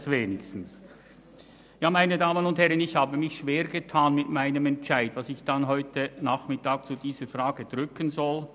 Meine Damen und Herren, ich habe mich schwergetan mit dem Entscheid, welchen Abstimmungsknopf ich heute Nachmittag zu diesem Thema drücken soll.